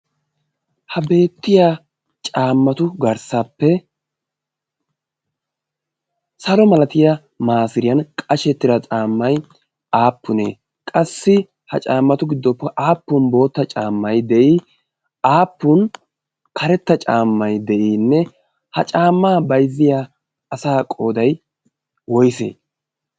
ha beettiya caammatu garssappe salo malatiya maasiriyan qashettida caammai aappunee qassi ha caammatu giddoppe aappun bootta caammai de'i aappun karetta caammai de'iinne ha caammaa baizziya asa qooday woyse